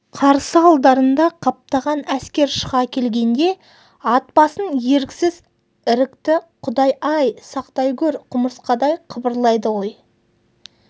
қарсы алдарында қаптаған әскер шыға келгенде ат басын еріксіз ірікті құдай-ай сақтай гөр құмырсқадай қыбырлайды ғой